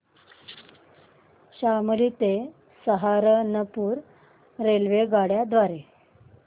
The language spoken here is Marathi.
शामली ते सहारनपुर रेल्वेगाड्यां द्वारे